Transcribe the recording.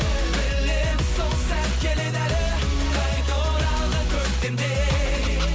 білемін сол сәт келеді әлі қайта оралған көктемдей